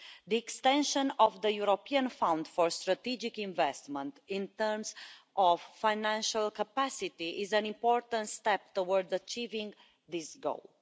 The extension of the European Fund for Strategic Investments, in terms of financial capacity, is an important step towards achieving this goal.